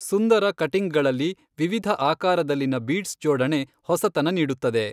ಸುಂದರ ಕಟಿಂಗ್ಗಳಲ್ಲಿ ವಿವಿಧ ಆಕಾರದಲ್ಲಿನ ಬೀಡ್ಸ್ ಜೋಡಣೆ ಹೊಸತನ ನೀಡುತ್ತದೆ.